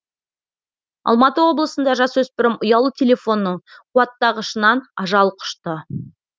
алматы облысында жасөспірім ұялы телефонның қуаттағышынан ажал құшты